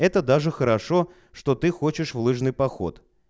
это даже хорошо что ты хочешь в лыжный поход